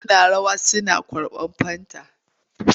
Suna rawa suna kurɓar fanta.